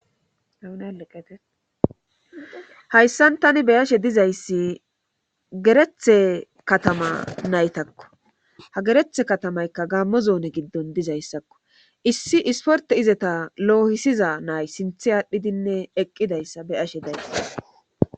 Eneleqete hayssan tani beyashe dizayssi gerethe katama naytakko ha gerethe katamaykka gaammo zoone giddon dizayssakko issi isporte izeta loohisiza nay sinthe aadhdhidinne eqqidayssa beyashe day